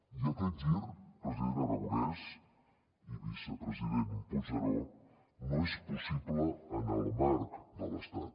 i aquest gir president aragonès i vicepresident puigneró no és possible en el marc de l’estat